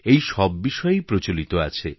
এই সব বিষয়ই প্রচলিত আছে